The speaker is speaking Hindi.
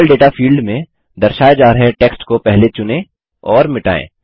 लेवल डेटा फील्ड में दर्शाए जा रहे टेक्स्ट को पहले चुनें और मिटायें